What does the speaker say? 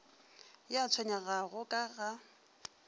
yo a tshwenyegago ka ga